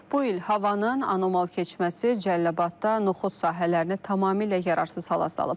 Bu il havanın anomal keçməsi Cəlilabadda noxud sahələrini tamamilə yararsız hala salıb.